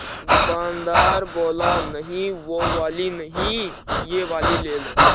दुकानदार बोला नहीं वो वाली नहीं ये वाली ले लो